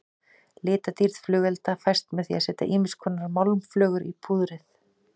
Litadýrð flugelda fæst með því að setja ýmiskonar málmflögur í púðrið.